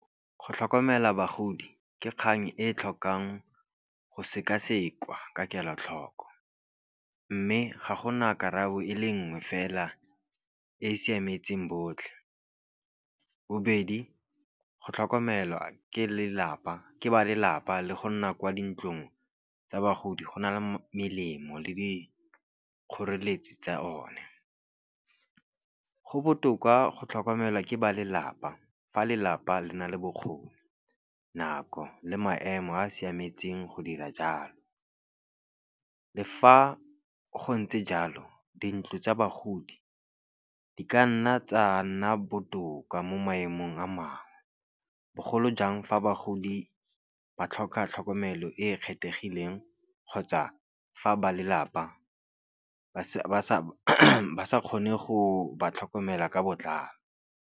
Go tlhokomela bagodi ke kgang e e tlhokang go sekaseka ka kelotlhoko. Mme ga gona karabo e le nngwe fela e e siametseng botlhe. Bobedi go tlhokomelwa ke lelapa ke ba lelapa le go nna kwa dintlong tsa bagodi go na le melemo le dikgoreletsi tsa o ne. Go botoka go tlhokomelwa ke ba lelapa fa lelapa le na le bokgoni, nako le maemo a a siametseng go dira jalo. Le fa go ntse jalo dintlo tsa bagodi di ka nna tsa nna botoka mo maemong a mangwe, bogolo jang fa bagodi ba tlhoka tlhokomelo e e kgethegileng kgotsa fa ba lelapa ba sa kgone go ba tlhokomela ka botlalo.